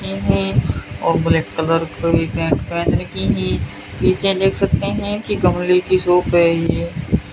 और black colour की pant पहन रखी है पीछे देख सकते हैं कि गमले की शॉप है ये।